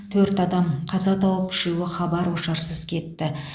төрт адам қаза тауып үшеуі хабар ошарсыз кетті